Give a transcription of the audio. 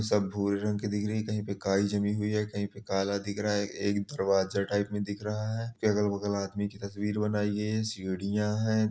सब भूरे रंग की दिख रहीं है कहीं पे काई जमी हुई है कहीं पे काला दिख रहा है। एक दरवाजा टाइप में दिख रहा है। अगल-बगल आदमियों की तस्वीर बनाई हुई है सीढ़ियां हैं |